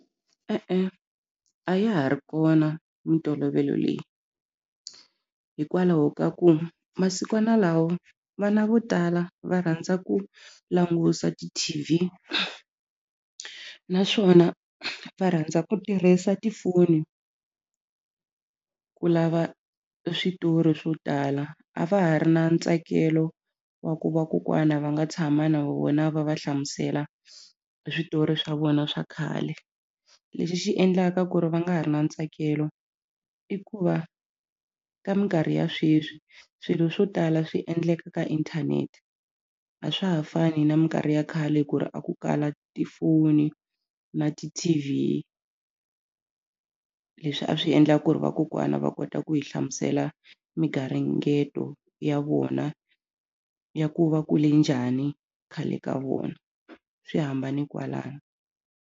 E-e, a ya ha ri kona mintolovelo leyi hikwalaho ka ku masikwana lawa vana vo tala va rhandza ku langusa ti-T_V naswona va rhandza ku tirhisa tifoni ku lava switori swo tala a va ha ri na ntsakelo wa ku vakokwana va nga tshama na vona va va hlamusela hi switori swa vona swa khale lexi xi endlaka ku ri va nga ha ri na ntsakelo i ku va ka minkarhi ya sweswi swilo swo tala swi endleka ka inthanete a swa ha fani na mikarhi ya khale ku ri a ku kala tifoni na ti-T_V leswi a swi endla ku ri vakokwana va kota ku hi hlamusela migaringeto ya vona ya ku va kule njhani khale ka vona swi hambane kwalano.